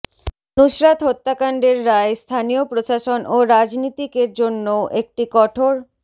নুসরাত হত্যাকাণ্ডের রায় স্থানীয় প্রশাসন ও রাজনীতিকের জন্যও একটি কঠোর